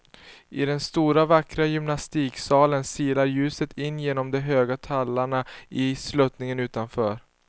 I den stora vackra gymnastiksalen silar ljuset in genom de höga tallarna i sluttningen utanför.